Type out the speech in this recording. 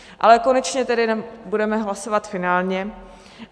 Ale konečně tedy budeme hlasovat finálně.